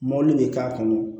Mɔbili bɛ k'a kɔnɔ